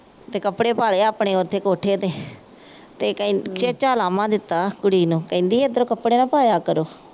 ਤੇ ਕੱਪੜੇ ਪਾ ਲਏ ਆਪਣੇ ਉੱਥੇ ਕੋਠੇ ਤੇ ਤੇ ਕਹਿੰਦੀ ਤੇ ਕਹਿ ਖੇਚਾਂ ਉਲੰਭਾ ਦਿੱਤਾ ਕੁੜੀ ਨੂੰ ਕਹਿੰਦੀ ਇਧਰ ਕੱਪੜੇ ਨਾ ਪਾਇਆ ਕਰੋ।